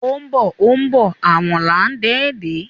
O ńbo o ńbo èwòn là ńdé dè